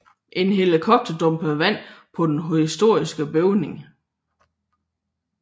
En helikopter dumpede vand på den historiske bygning